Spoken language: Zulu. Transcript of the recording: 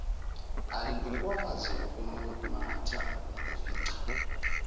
alukwazi ukumumatha nokufica